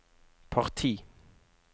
parti